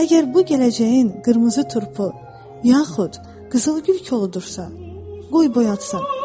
Əgər bu gələcəyin qırmızı turpu, yaxud qızılgül koludursa, qoy boyatsın.